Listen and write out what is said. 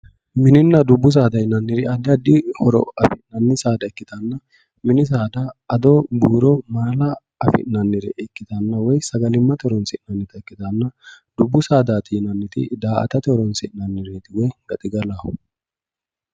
Mininna dubbu saada yinnanniri addi addi horo affi'nanni saada ikkittanna mini saada addo ,buuro, mala affi'nanire ikkittanna woyi sagalimate horonsi'nannitta ikkittanna, dubbu saadati yinnanniti da"aattate horonsi'nanireti woyi gaxigalaho